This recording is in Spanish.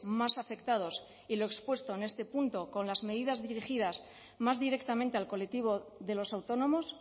más afectados y lo expuesto en este punto con las medidas dirigidas más directamente al colectivo de los autónomos